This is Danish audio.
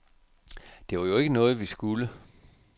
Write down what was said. Det var jo ikke noget, vi skulle.